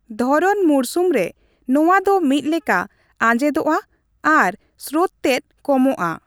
ᱫᱷᱚᱨᱚᱱ ᱢᱩᱨᱥᱩᱢ ᱨᱮ ᱱᱚᱣᱟ ᱫᱚ ᱢᱤᱫᱞᱮᱠᱟ ᱟᱡᱮᱸᱫᱚᱜᱼᱟ ᱟᱨ ᱥᱨᱳᱛ ᱛᱮᱫ ᱠᱚᱢᱚᱜᱼᱟ ᱾